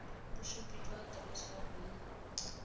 bosupi jwa aterese ya bonno